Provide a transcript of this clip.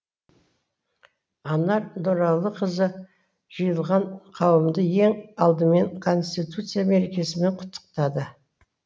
анар нұралықызы жиылған қауымды ең алдымен конституция мерекесімен құттықтады